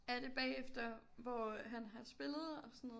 Er det bagefter hvor han har spillet og sådan noget